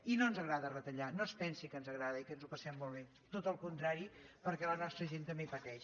i no ens agrada retallar no es pensi que ens agrada i que ens ho passem molt bé tot al contrari perquè la nostra gent també pateix